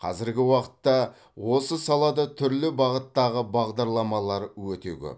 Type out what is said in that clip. қазіргі уақытта осы салада түрлі бағыттағы бағдарламалар өте көп